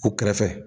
U kɛrɛfɛ